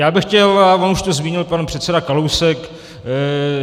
Já bych chtěl - a on to už zmínil pan předseda Kalousek.